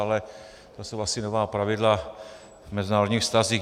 Ale to jsou asi nová pravidla v mezinárodních vztazích.